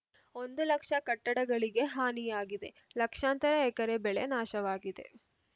ಒಂದು ಲಕ್ಷ ಕಟ್ಟಡಗಳಿಗೆ ಹಾನಿಯಾಗಿದೆ ಲಕ್ಷಾಂತರ ಎಕರೆ ಬೆಳೆ ನಾಶವಾಗಿದೆ